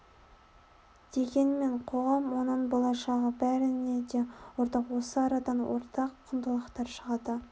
дегенмен қоғам оның болашағы бәріне де ортақ осы арадан ортақ құндылықтар шығады